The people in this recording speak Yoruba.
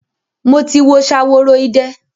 Mo ti wo Ṣaworoide.